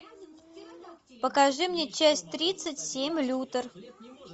покажи мне часть тридцать семь лютер